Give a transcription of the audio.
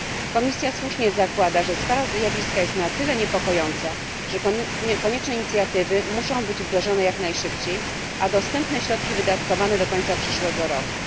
Komisja słusznie zakłada, że skala zjawiska jest na tyle niepokojąca, że konieczne inicjatywy muszą być wdrożone jak najszybciej a dostępne środki wydatkowane do końca przyszłego roku.